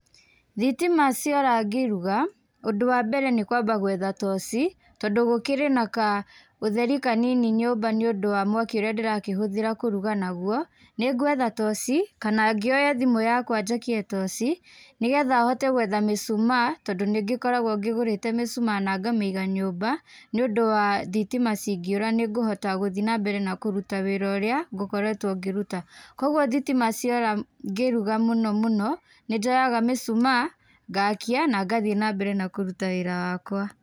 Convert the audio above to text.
Thitima ciora ngĩruga ũndũ wa mbere nĩ kuamba gũetha toci, tondũ gũkĩrĩ na kaũtheri kanini nyũmba nĩũndũ wa mwaki ũrĩa ndĩrakĩhũthĩra kũruga nagwo, nĩnguetha toci kana ngĩoye thimũ yakwa njakie toci nĩgetha hote gwetha mĩcumaa tondũ nĩngĩkoragwo ngĩgũrĩte mĩcumaa na ngamĩiga nyũmba nĩũndu wa thitima cingĩũra nĩngũhota gũthĩi na mbere na kũruta wĩra ũrĩa ngukoretwo ngĩruta koguo thitima ciora ngĩruga mũno mũno nĩnjoyaga mĩcumaa ngakia na ngathi na mbere na kũruta wĩra wakwa.